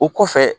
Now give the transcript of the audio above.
O kɔfɛ